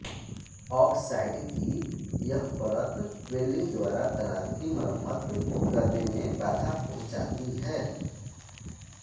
oxide की यह परत वेल्डिंग द्वारा दरार की मरम्मत करने में बाधा पहुंचाती है